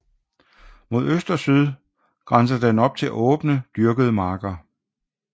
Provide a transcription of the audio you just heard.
Mod øst og syd grænser den op til åbne dyrkede marker